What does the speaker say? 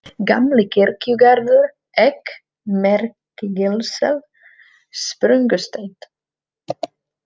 Gamli-Kirkjugarður, Egg, Merkigilssel, Sprungusteinn